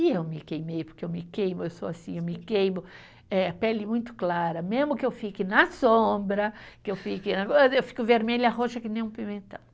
E eu me queimei, porque eu me queimo, eu sou assim, eu me queimo, eh pele muito clara, mesmo que eu fique na sombra, que eu fique, eu fico vermelha, roxa, que nem um pimentão.